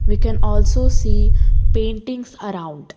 We can also see paintings around.